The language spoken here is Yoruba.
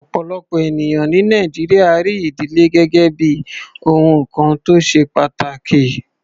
Ọ̀pọ̀lọpọ̀ ènìyàn ní Nàìjíríà rí ìdílé gẹ́gẹ́ bí ohun kan tó ṣe pàtàkì.